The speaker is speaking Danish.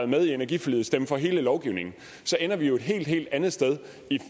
med i energiforliget stemme for hele lovgivningen så ender vi et helt helt andet sted